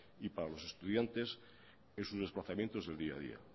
y para los estudiantes en sus desplazamientos del día a día